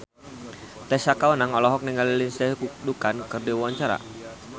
Tessa Kaunang olohok ningali Lindsay Ducan keur diwawancara